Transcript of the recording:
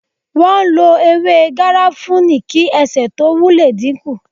Wọn lo ewé garafuni kí ẹsẹ tó wu le dínkù